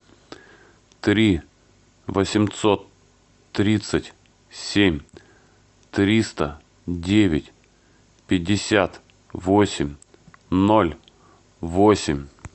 три восемьсот тридцать семь триста девять пятьдесят восемь ноль восемь